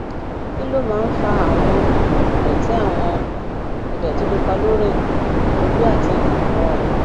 kí ló máa ń fa àwọn um ìdòtí àwọn um ìdòtí pupa lórí um ojú àti um ọrùn